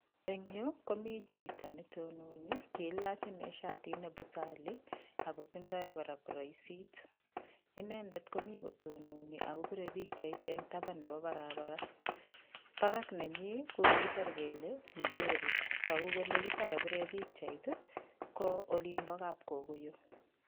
Eng yu komi chito netononi kelach ine shatit ne busali akotindoi kora kuroisit. Inendet komi kotononi akopire pikchait eng tapan nepo barabara barak nenyi ko kikisir kele Njeri tugu kole yuto kapire pikchait ko olinpo kapkokoyo.